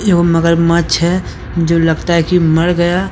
वो मगरमच्छ हैं जो लगता हैकी मर गया।